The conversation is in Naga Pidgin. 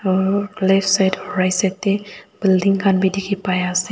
aro left side aro right side tae building khan bi dikhipaiase.